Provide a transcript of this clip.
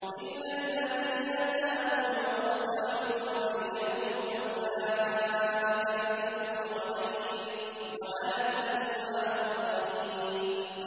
إِلَّا الَّذِينَ تَابُوا وَأَصْلَحُوا وَبَيَّنُوا فَأُولَٰئِكَ أَتُوبُ عَلَيْهِمْ ۚ وَأَنَا التَّوَّابُ الرَّحِيمُ